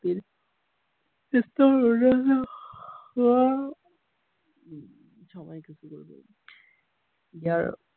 ইয়াৰ